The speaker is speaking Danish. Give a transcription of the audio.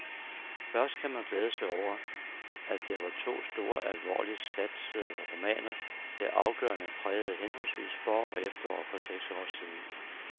Først kan man glæde sig over, at det var to store, alvorligt satsede romaner, der afgørende prægede henholdsvis forår og efterår for seks år siden.